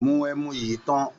Mu ẹmu yìí tán.